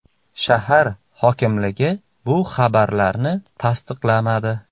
Shahar hokimligi bu xabarlarni tasdiqlamadi.